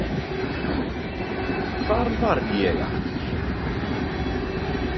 Hvar var ég aftur?